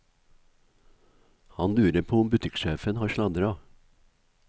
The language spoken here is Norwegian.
Han lurer på om butikksjefen har sladra.